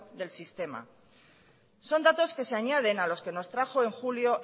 del sistema son datos que se añaden a los que nos trajo en julio